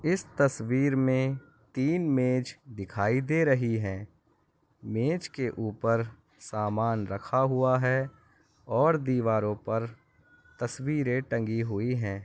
इस तस्वीर में तीन मेज दिखाई दे रही है मेज के ऊपर सामान रखा हुआ है और दीवारों पर तस्वीर टंगी हुई है।